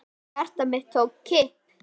Hjarta mitt tók kipp.